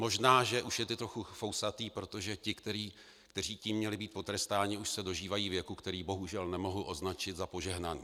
Možná že už je teď trochu fousatý, protože ti, kteří tím měli být potrestáni, už se dožívají věku, který bohužel nemohu označit za požehnaný.